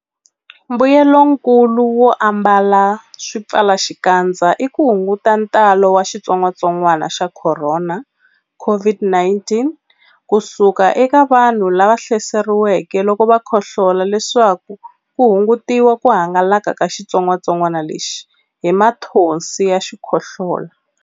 Mbuyelonkulu wo ambala swipfalaxikandza i ku hunguta ntalo wa xitsongwantsongwana xa Khorona, COVID-19, ku suka eka vanhu lava hlaseriweke loko va khohlola leswaku ku hungutiwa ku hangalaka ka xitsongwantsongwana lexi hi mathonsi ya xikhohlola.